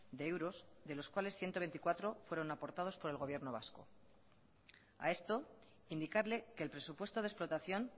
de euros de los cuales ciento veinticuatro fueron aportados por el gobierno vasco a esto indicarle que el presupuesto de explotación